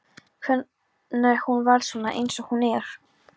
Hvenær hún varð svona eins og hún er.